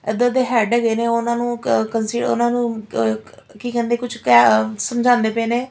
ਇੱਧਰ ਦੇ ਹੈਡ ਹੈਗੇ ਨੇ ਉਹਨਾਂ ਨੂੰ ਕ ਕਸੀ ਉਹਨਾਂ ਨੂੰ ਕ ਕੀ ਕਹਿੰਦੇ ਕੁਛ ਕ ਸਮਝਾਂਦੇ ਪਏ ਨੇ।